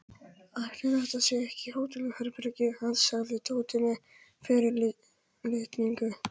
Ætli þetta sé ekki hótelherbergið hans sagði Tóti með fyrirlitningu.